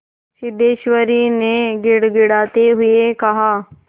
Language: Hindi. सिद्धेश्वरी ने गिड़गिड़ाते हुए कहा